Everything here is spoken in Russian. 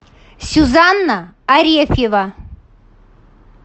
сюзанна арефьева